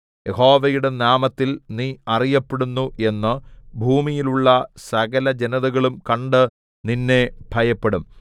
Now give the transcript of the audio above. യഹോവയുടെ നാമത്തിൽ നീ അറിയപ്പെടുന്നു എന്ന് ഭൂമിയിലുള്ള സകലജനതകളും കണ്ട് നിന്നെ ഭയപ്പെടും